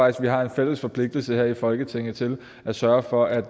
at vi har en fælles forpligtelse her i folketinget til at sørge for at